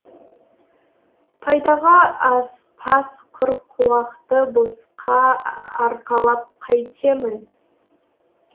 пайдаға аспас құр қуақты босқа арқалап қайтемін